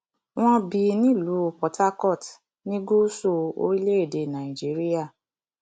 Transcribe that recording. wọn bí nílùú portharcourt ní gúúsù orílẹèdè nàíjíríà